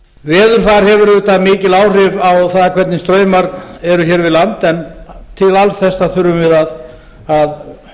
veðurfar hefur auðvitað mikil áhrif á það hvernig straumar eru hér við land en til alls þessa þurfum við að